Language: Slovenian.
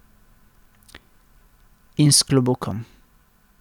In s klobukom.